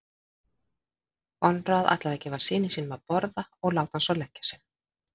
Konráð ætlaði að gefa syni sínum að borða og láta hann svo leggja sig.